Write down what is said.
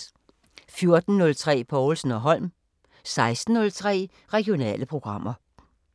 14:03: Povlsen & Holm 16:03: Regionale programmer